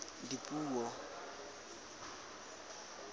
dipuo